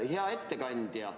Hea ettekandja!